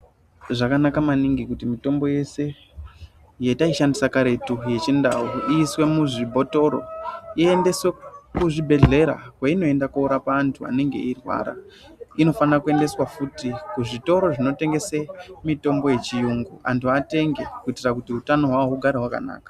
Zvakanaka maningi kuti mitombo yese yetaishandisa karetu, yechiNdau iiswe muzvibhotoro iendeswe kuzvibhedhlera kweinoenda koorapa antu anenge eirwara. Inofana kuendeswa futi kuzvitoro zvinotengese mitombo yechiyungu antu atenge kuitira kuti utano hwavo hugare hwakanaka.